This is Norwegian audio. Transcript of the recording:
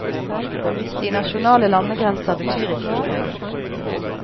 De nasjonale landegrenser betyr ikke noe lenger.